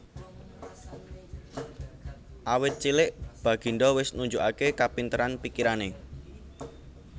Awit cilik baginda wis nunjukaké kapinteran pikirané